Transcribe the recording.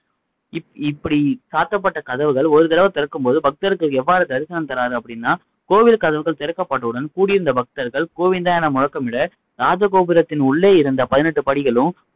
இ இ இப்படி சாத்தப்பட்ட கதவுகள் ஒரு தடவ திறக்கும் போது பக்தருக்கு எவ்வாறு தரிசனம் தர்றாரு அப்படின்னா கோவில் கதவுகள் திறக்கப்பட்ட உடன் கூடியிருந்த பக்தர்கள் கோவிந்தா என முழக்கமிட ராஜகோபுரத்தின் உள்ளே இருந்த பதினெட்டு படிகளிலும்